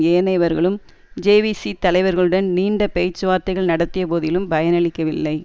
ஏனையவர்களும் JVP தலைவர்களுடன் நீண்ட பேச்சுவார்த்தைகள் நடத்திய போதிலும் பயனளிக்கவில்லை